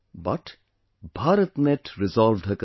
But, BharatNet resolved her concern